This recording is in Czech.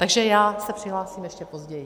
Takže já se přihlásím ještě později.